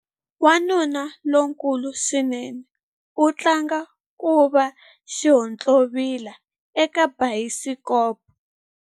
Wanuna lonkulu swinene u tlanga ku va xihontlovila eka bayisikopo.